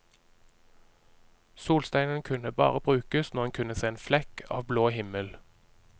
Solsteinen kunne bare brukes når en kunne se en flekk av blå himmel.